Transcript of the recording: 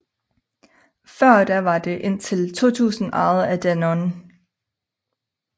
Før da var det indtil 2000 ejet af Danone